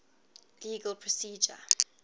legal procedure